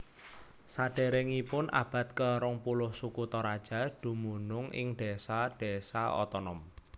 Sadéréngipun abad ke rong puluh suku Toraja dumunung ing désa désa otonom